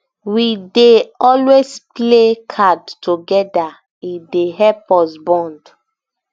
we dey always play card togeda e dey help us bond